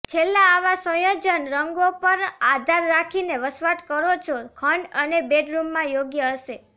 છેલ્લા આવા સંયોજન રંગો પર આધાર રાખીને વસવાટ કરો છો ખંડ અને બેડરૂમમાં યોગ્ય હશે